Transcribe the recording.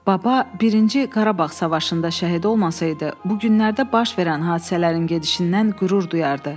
Baba birinci Qarabağ savaşında şəhid olmasaydı, bu günlərdə baş verən hadisələrin gedişindən qürur duyurdu.